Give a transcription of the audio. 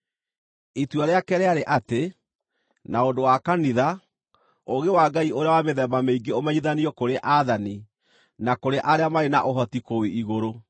Itua rĩake rĩarĩ atĩ, na ũndũ wa kanitha, ũũgĩ wa Ngai ũrĩa wa mĩthemba mĩingĩ ũmenyithanio kũrĩ aathani, na kũrĩ arĩa marĩ na ũhoti kũu igũrũ,